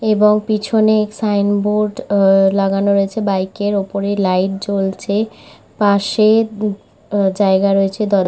এবং পিছনে sign board এ-এ লাগানো রয়েছে। বাইকের উপরে লাইট জ্বলছে পাশে দু জায়গা রয়েছে দর --